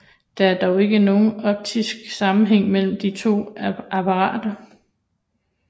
Der er dog ikke nogen optisk sammenhæng mellem de to apparater